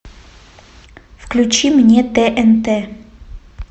включи мне тнт